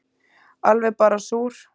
Alveg bara súr